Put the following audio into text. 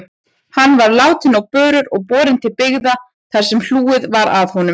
Hann var látinn á börur og borinn til byggða þar sem hlúð var að honum.